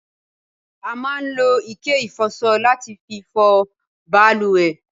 a máa ń lo ike ìfọsọ láti fi fọ baluwẹ̀